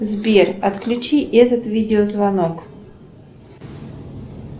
сбер отключи этот видеозвонок